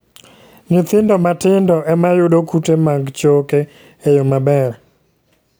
Nyithindo matindo e ma yudo kute mag choke e yo maber.